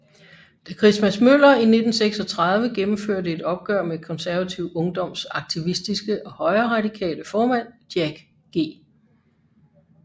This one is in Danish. Da Christmas Møller i 1936 gennemførte et opgør med Konservativ Ungdoms aktivistiske og højreradikale formand Jack G